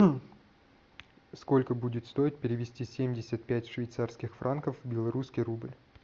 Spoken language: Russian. сколько будет стоить перевести семьдесят пять швейцарских франков в белорусский рубль